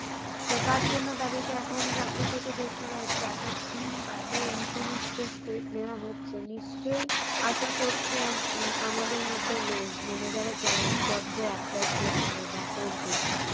তো তারজন্য তাদেরকে এখন চাকরি থেকে বের করা হচ্ছে এতদিন বাদে এইসমস্ত step নেওয়া হচ্ছে নিশ্চই আশা করছি আমাদের মতো লোক মানে যারা job jobs এ apply করছে বা করবে